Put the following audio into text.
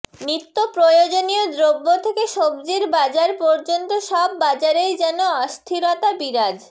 নিত্যপ্রয়োজনীয় দ্রব্য থেকে সবজির বাজার পর্যন্ত সব বাজারেই যেন অস্থিরতা বিরাজ